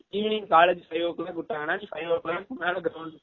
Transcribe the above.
evening college five o clock விட்டங்கனா நீ five o clock மேல ground க்கு போய் ஆ வேலாண்டுகலாம்